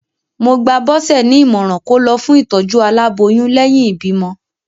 Mo gba Bọse ní ìmọ̀ràn kó lọ fún ìtòjú aláboyún lẹ́yìn ìbímọ.